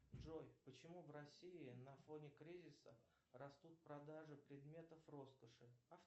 джой почему в россии на фоне кризиса растут продажи предметов роскоши